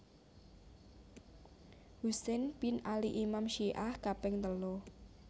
Husain bin Ali Imam Syi ah kaping telu